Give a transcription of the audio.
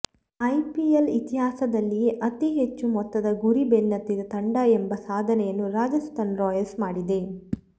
IPL ಇತಿಹಾಸದಲ್ಲಿಯೇ ಅತಿ ಹೆಚ್ಚು ಮೊತ್ತದ ಗುರಿ ಬೆನ್ನತ್ತಿದ ತಂಡ ಎಂಬ ಸಾಧನೆಯನ್ನು ರಾಜಸ್ಥಾನ್ ರಾಯಲ್ಸ್ ಮಾಡಿದೆ